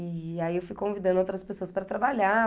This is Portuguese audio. E aí eu fui convidando outras pessoas para trabalhar.